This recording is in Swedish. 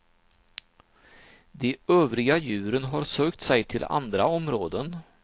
De övriga djuren har sökt sig till andra områden.